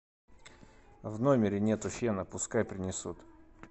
в номере нету фена пускай принесут